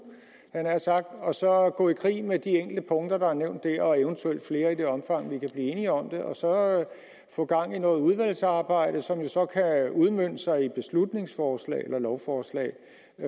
jeg nær sagt og så gå i krig med de enkelte punkter der er nævnt der og eventuelt flere i det omfang vi kan blive enige om det og så få gang i noget udvalgsarbejde som jo så kan udmønte sig i et beslutningsforslag eller lovforslag